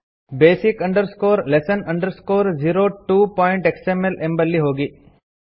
basic lesson 02xml ಎಂಬಲ್ಲಿ ಹೋಗಿ